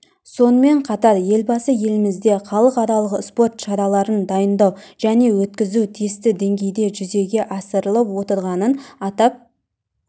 сонымен қатар елбасы елімізде халықаралық спорт шараларын дайындау және өткізу тиісті деңгейде жүзеге асырылып отырғанын атап